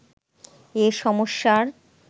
এ সমস্যার